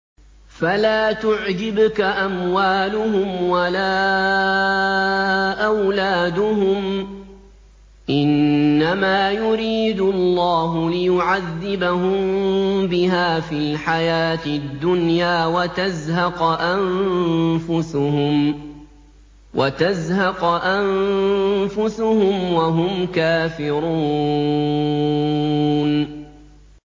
فَلَا تُعْجِبْكَ أَمْوَالُهُمْ وَلَا أَوْلَادُهُمْ ۚ إِنَّمَا يُرِيدُ اللَّهُ لِيُعَذِّبَهُم بِهَا فِي الْحَيَاةِ الدُّنْيَا وَتَزْهَقَ أَنفُسُهُمْ وَهُمْ كَافِرُونَ